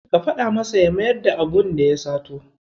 Ka faɗa masa ya mayar da abunda ya sato.